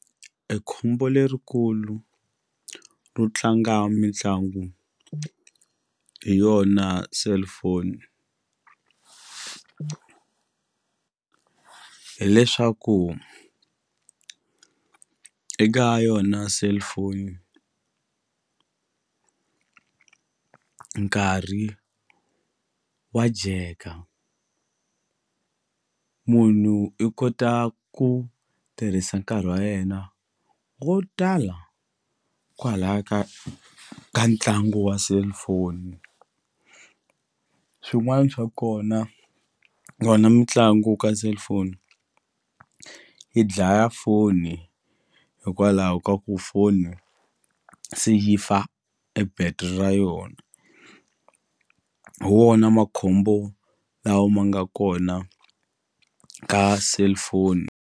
E khombo lerikulu ro tlanga mitlangu hi yona cellphone hileswaku eka yona cellphone nkarhi wa dyeka munhu i kota ku tirhisa nkarhi wa yena wo tala kwalaya ka ka ntlangu wa cellphone swin'wani swa kona mitlangu ka cellphone yi dlaya foni hikwalaho ka ku foni se yi fa e battery ra yona hi wona makhombo lawa ma nga kona ka cellphone.